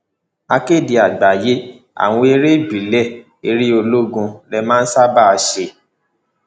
akéde àgbáyé àwọn eré ìbílẹ eré olóògùn lè máa ń ṣààbà ṣe